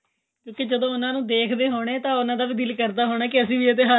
ਕਿਉਂਕਿ ਜਦੋਂ ਉਹਨਾ ਨੂੰ ਦੇਖਦੇ ਹੋਣੇ ਤਾਂ ਉਹਨਾ ਦਾ ਵੀ ਦਿਲ ਕਰਦਾ ਹੋਣਾ ਕੇ ਅਸੀਂ ਇਹ ਤਿਉਹਾਰ